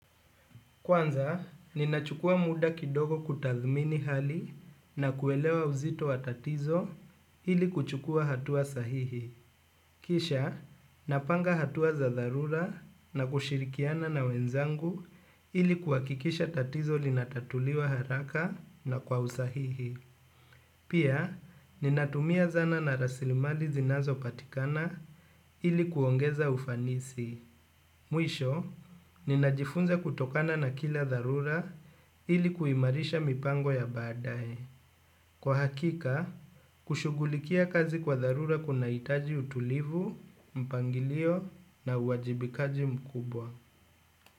Kwanza, ninachukua muda kidogo kutathmini hali na kuelewa uzito wa tatizo ili kuchukua hatua sahihi. Kisha, napanga hatua za dharura na kushirikiana na wenzangu ili kuhakikisha tatizo linatatuliwa haraka na kwa usahihi. Pia, ninatumia zana na rasilimali zinazo patikana ili kuongeza ufanisi. Mwisho, ninajifunza kutokana na kila dharura ili kuimarisha mipango ya baadae. Kwa hakika, kushughulikia kazi kwa dharura kuna itaji utulivu, mpangilio na uajibikaji mkubwa.